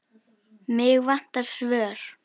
Mig vantar svör.